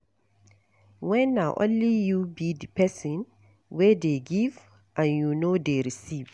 When na only you be di person wey dey give and you no dey receive